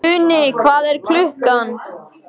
Uni, hvað er klukkan?